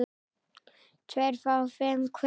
tveir fái fimm hver